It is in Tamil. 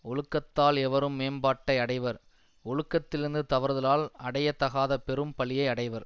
ஒழுக்கத்தால் எவரும் மேம்பாட்டை அடைவர் ஒழுக்கத்திலிருந்து தவறுதலால் அடைய தகாத பெரும் பழியை அடைவர்